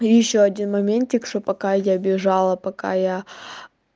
и ещё один моментик что пока я бежала пока я